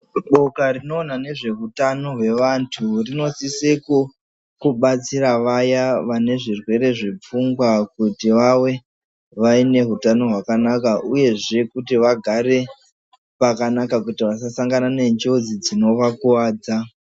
Boka rinoona nezveutano hwevantu rinosisa kubatsira vaya vane zvitenda zvepfungwa kuti vave neutano hwakanaka uyezve kuti vagare pakanaka kuti vasasangana nenjodzi dzinovakuwadza.